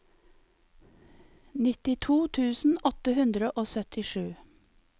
nittito tusen åtte hundre og syttisju